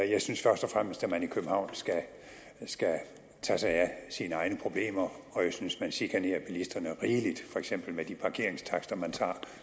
jeg synes først og fremmest at man i københavn skal tage sig af sine egne problemer og jeg synes at man chikanerer bilisterne rigeligt for eksempel med de parkeringstakster man tager og